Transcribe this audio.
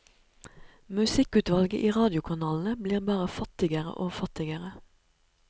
Musikkutvalget i radiokanalene blir bare fattigere og fattigere.